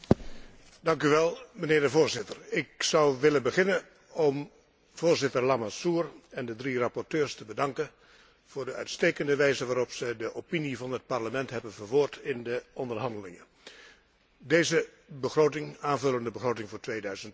Voorzitter, ik zou willen beginnen om voorzitter Lamassoure en de drie rapporteurs te bedanken voor de uitstekende wijze waarop zij de opinie van het Parlement hebben verwoord in de onderhandelingen over deze aanvullende begroting voor 2012 en de begroting voor